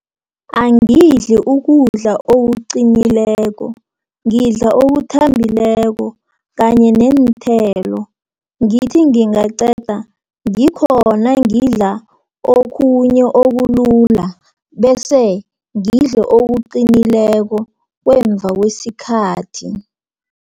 Angibudli ukudla okuqinileko, ngidla okuthambileko kanye neenthelo. Ngithi ngingaqeda ngikhona ngidla okhunye okulula, bese ngidle okuqinileko kweemva kwesikhathi.